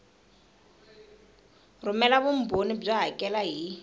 rhumela vumbhoni byo hakela hi